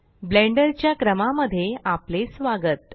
blender च्या क्रमा मध्ये आपले स्वागत